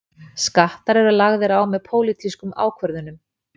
Skattar eru lagðir á með pólitískum ákvörðunum.